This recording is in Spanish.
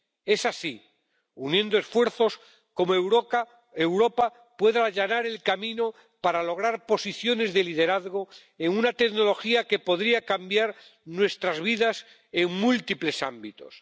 Es así, uniendo esfuerzos, como Europa puede allanar el camino para lograr posiciones de liderazgo en una tecnología que podría cambiar nuestras vidas en múltiples ámbitos.